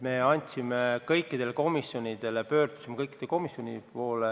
Me andsime eelnõu kõikidele komisjonidele, pöördusime kõikide komisjonide poole.